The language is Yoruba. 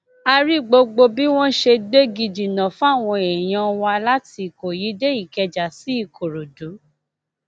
a rí gbogbo bí wọn ṣe gbégi dínà fáwọn èèyàn wa láti ìkọyí dé ìkẹjà sí ìkòròdú